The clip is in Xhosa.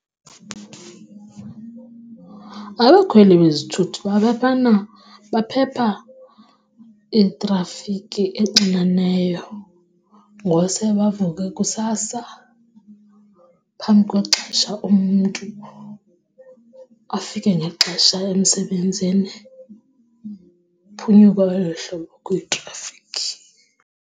Abakhweli bezithuthi baphepha itrafikhi exineneyo ngose bavuke kusasa phambi kwexesha umntu afike ngexesha emsebenzini. Uphunyuka olo hlobo kwitrafikhi.